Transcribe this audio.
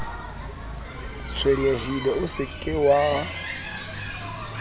tshwenyehile o se ke wa